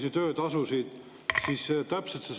See, et me ei ole arvestanud ühegi ettepanekuga, ei vasta ju tõele.